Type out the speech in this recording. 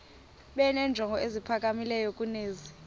benenjongo eziphakamileyo kunezi